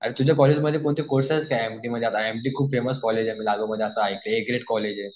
अरे तुझ्या कॉलेजमध्ये कोणते कोर्सेस आहेत? खूप फेमस कॉलेज आहे कॉलेज आहे.